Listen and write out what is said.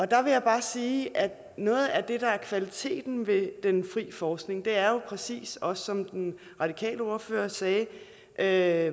der vil jeg bare sige at noget af det der er kvaliteten ved den frie forskning jo præcis også som den radikale ordfører sagde er